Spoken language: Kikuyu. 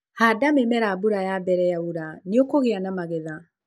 Handa mĩmera mbura ya mbere yaura na nĩũkũgia na magetha.